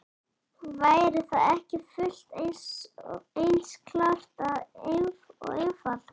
Væri það ekki fullt eins klárt og einfalt?